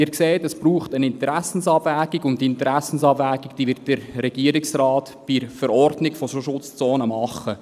Sie sehen, es braucht eine Interessenabwägung, und die Interessenabwägung wird der Regierungsrat im Rahmen der Verordnung zu solchen Schutzzonen machen.